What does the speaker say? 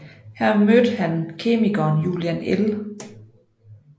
Her mødte han kemikeren Julian L